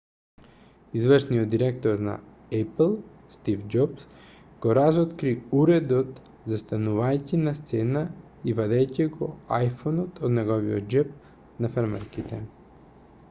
извршниот директор на ејпл стив џобс го разоткри уредот застанувајќи на сцена и вадејќи го iphone-от од неговиот џеб на фармерките